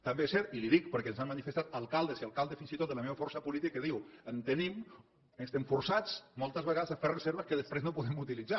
també és cert i li ho dic perquè ens ho han manifestat alcaldes i alcaldes fins i tot de la meva força política que diuen en tenim estem forçats moltes vegades a fer reserves que després no podem utilitzar